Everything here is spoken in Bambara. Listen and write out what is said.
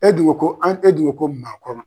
E dun ko ko an e dun ko ko maakɔrɔ.